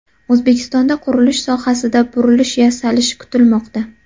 O‘zbekistonda qurilish sohasida burilish yasalishi kutilmoqda.